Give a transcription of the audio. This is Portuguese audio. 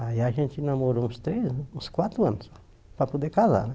Aí a gente namorou uns três, uns quatro anos, para poder casar.